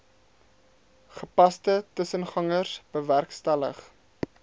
gepaste tussengangers bewerkstellig